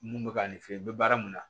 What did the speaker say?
Mun bɛ ka ne fe yen i bɛ baara mun na